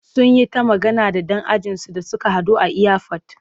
Sun yi ta magana da ɗan ajinsu da suka haɗu a iyafot.